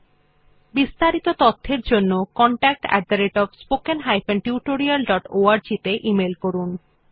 এই বিষয় বিস্তারিত তথ্যের জন্য contactspoken tutorialorg তে ইমেল করুন